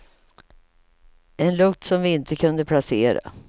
En lukt som vi inte kunde placera.